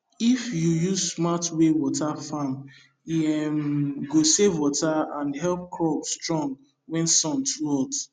if you use smart way water farm e um go save water and help crop strong when sun too hot